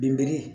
Binbini